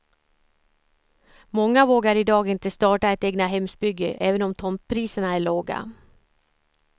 Många vågar idag inte starta ett egnahemsbygge även om tomtpriserna är låga.